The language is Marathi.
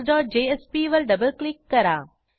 indexjspवर डबल क्लिक करा